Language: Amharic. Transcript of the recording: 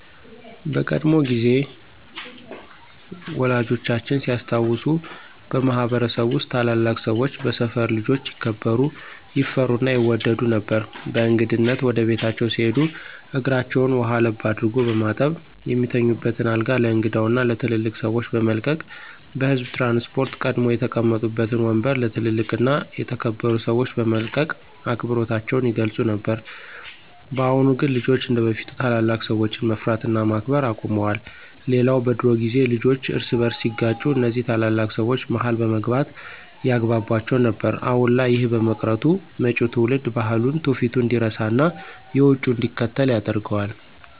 በቀድሞ ጊዜ ወላጆቻችን ሲያስታውሱ በማህበረሰብ ውስጥ ታላላቅ ሰወች በሰፈር ልጆች ይከበሩ፣ ይፈሩ እና ይወደዱ ነበር። በእንግድነት ወደ ቤታቸው ሲሄዱ እግራቸውን ውሃ ለብ አድርጎ በማጠብ፣ የሚተኙበትን አልጋ ለእንግዳው እና ለትልልቅ ሰወች በመልቀቅ፤ በህዝብ ትራንስፖርት ቀድመው የተቀመጡበትን ወምበር ለ ትልልቅ እና የተከበሩ ሰወች በመልቀቅ አክብሮታቸውን ይገልፁ ነበር። በአሁን ግን ልጆች እንደበፊት ታላላቅ ሰወችን መፍራት እና ማክበር አቁመዋል። ሌላው በድሮ ጊዜ ልጆች እርስ በርሳቸው ሲጋጩ እነዚ ታላላቅ ሰወች መሀል በመግባት ያግቧቧቸው ነበር። አሁን ላይ ይህ በመቅረቱ መጪው ትውልድ ባህሉን፣ ትውፊቱን እንዲረሳና የውጩን እንዲከተል ያደርገዋል።